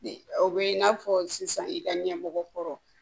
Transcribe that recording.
Ni o bɛ i n'a fɔ sisan i ka ɲɛmɔgɔ kɔrɔ